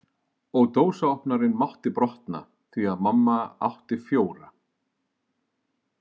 Og dósaopnarinn mátti brotna, því að mamma átti fjóra.